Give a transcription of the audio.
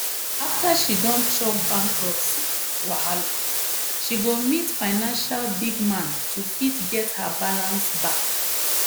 after she don chop bankruptcy wahala she go meet financial big man to fit get her balance back.